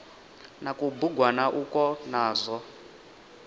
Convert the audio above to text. na kubugwana ukwo na zwo